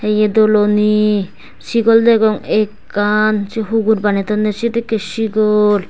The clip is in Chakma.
hiye doloni sigol degong ekkan sei hugur bani tonney sedekkey sigol.